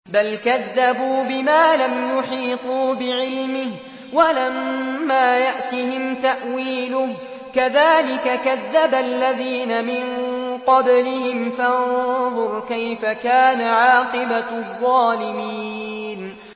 بَلْ كَذَّبُوا بِمَا لَمْ يُحِيطُوا بِعِلْمِهِ وَلَمَّا يَأْتِهِمْ تَأْوِيلُهُ ۚ كَذَٰلِكَ كَذَّبَ الَّذِينَ مِن قَبْلِهِمْ ۖ فَانظُرْ كَيْفَ كَانَ عَاقِبَةُ الظَّالِمِينَ